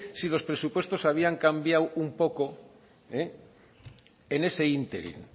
si los presupuestos habían cambiado un poco en ese ínterin